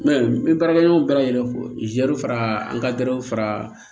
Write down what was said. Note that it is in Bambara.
n ye baarakɛ ɲɔgɔn bɛɛ lajɛlen fo zɛriw fara an ka gawo fara